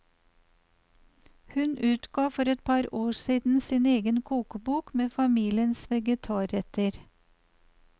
Hun utga for et par år siden sin egen kokebok med familiens vegetarretter.